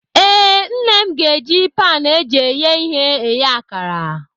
Ee, Nne m ga-eji pan eji eghe ihe eghe akara.